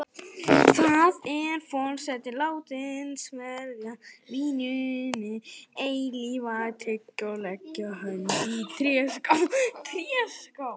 Þá er forseti látin sverja víninu eilífa tryggð og leggja hönd í tréskál.